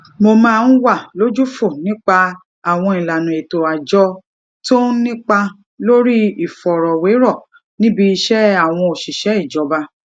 mo máa ń wà lójúfò nípa àwọn ìlànà ètò àjọ tó ń nípa lórí ìfọrọwérọ níbi iṣẹ àwọn òṣìṣẹ ìjọba